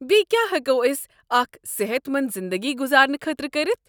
بیٚیہ کیٛاہ ہٮ۪کو أسۍ اکھ صحت منٛد زنٛدگی گُزارنہٕ خٲطرٕ کٔرتھ؟